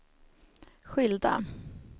skilda